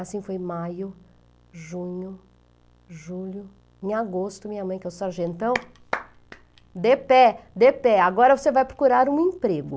Assim foi maio, junho, julho, em agosto, minha mãe, que é o sargentão, de pé, de pé, agora você vai procurar um emprego.